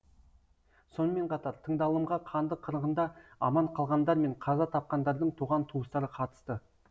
сонымен қатар тыңдалымға қанды қырғында аман қалғандар мен қаза тапқандардың туған туыстары қатысты